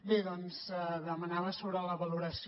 bé doncs demanava sobre la valoració